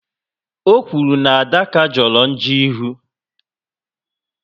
O okwuru na Adaka joro njo ịhụ